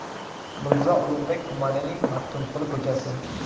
Mirzo Ulug‘bek tumanining Maxtumquli ko‘chasi.